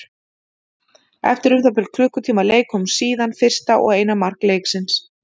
Eftir um það bil klukkutíma leik kom síðan fyrsta og eina mark leiksins.